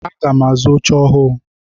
Aga m azu oche ọhụụ.